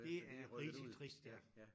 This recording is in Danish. Det er rigtig trist ja